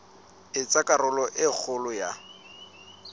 etsa karolo e kgolo ya